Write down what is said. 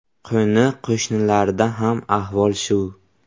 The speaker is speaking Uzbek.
Qo‘ni-qo‘shnilarda ham ahvol shu.